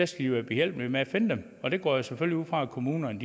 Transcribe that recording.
skal være behjælpelige med at finde dem og det går jeg selvfølgelig ud fra kommunerne